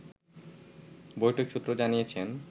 বৈঠক সূত্র জানিয়েছে